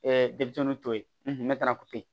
denmisɛnninw to ye mɛtɛrɛ ko yen